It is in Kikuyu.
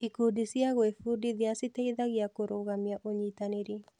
Ikundi cia gwĩbundithia citeithagia kũrũgamia ũnyitanĩri